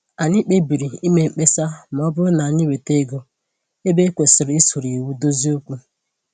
Anyị kpebiri ime mkpesa ma ọ bụrụ na-asị anyị weta ego ebe e kwesịrị isoro iwu dozie okwu